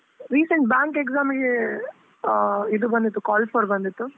Recent bank exam ಇಗೆ ಇದು ಬಂದಿತ್ತು, call for ಬಂದಿತ್ತು?